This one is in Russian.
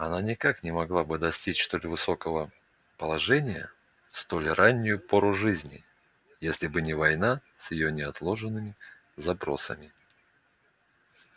она никак не могла бы достичь столь высокого положения в столь раннюю пору жизни если бы не война с её неотложенными запросами